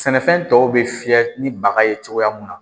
Sɛnɛfɛn tɔw bɛ fiyɛ ni baga ye cogoya mun na.